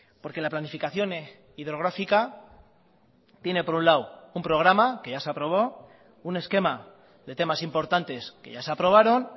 porque la planificación hidrográfica tiene por un lado un programa que ya se aprobó un esquema de temas importantes que ya se aprobaron